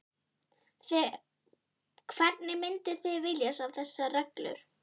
Hvernig mynduð þið vilja sjá þessar reglur?